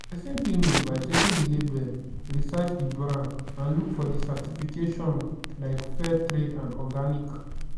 pesin fit know by checking di label research di brand and look for di certifications like fair trade and organic.